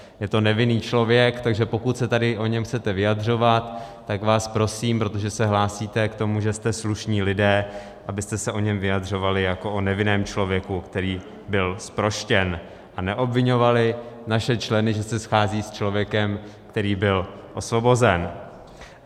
Je to nevinný člověk, takže pokud se tady o něm chcete vyjadřovat, tak vás prosím, protože se hlásíte k tomu, že jste slušní lidé, abyste se o něm vyjadřovali jako o nevinném člověku, který byl zproštěn, a neobviňovali naše členy, že se scházejí s člověkem, který byl osvobozen.